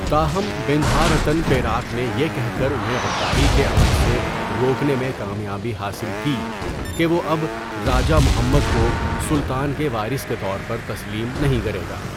تاہم ، Bendahara Tun Perak نے یہ کہہ کر انہیں غداری کے عمل سے روکنے میں کامیابی حاصل کی کہ وہ اب راجہ محمد کو سلطان کے وارث کے طور پر تسلیم نہیں کرے گا۔